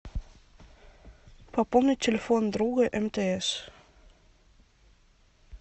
пополнить телефон друга мтс